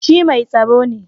Shi mai tsaro ne